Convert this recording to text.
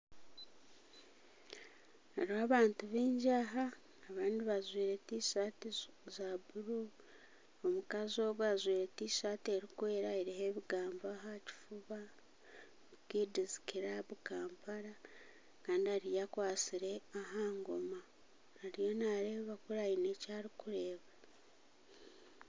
Hariho abantu baingi aha abandi bajwaire tishaati zi za buru. Omukazi ogu ajwaire tishaati erikwera eriho ebigambo aha aha kifuba kids club Kampala. Kandi ariyo akwatsire aha ngoma. Ariyo naareba kuri aine eki arikureeba.